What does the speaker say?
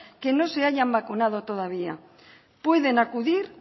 que no se hayan vacunado todavía pueden acudir